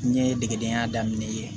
N ɲɛ degedenya daminɛ yen